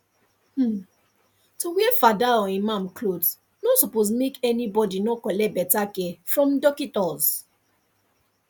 um to wear fada or imam cloth nor suppos make any bodi nor collect beta care from dockitos